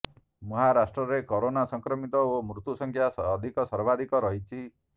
ମହାରାଷ୍ଟ୍ରରେ କରୋନା ସଂକ୍ରମିତ ଓ ମୃତ୍ୟୁ ସଂଖ୍ୟା ଅଧିକ ସର୍ବାଧିକ ରହିଛି